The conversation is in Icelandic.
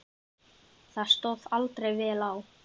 Það stóð aldrei vel á.